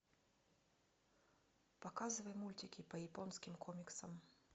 показывай мультики по японским комиксам